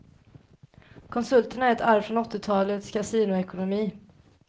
Konsulterna är ett arv från åttiotalets kasinoekonomi.